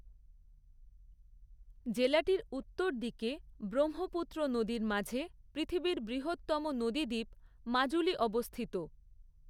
জেলাটির উত্তর দিকে, ব্রহ্মপুত্র নদীর মাঝে পৃথিবীর বৃহত্তম নদীদ্বীপ মাজুলী অবস্থিত।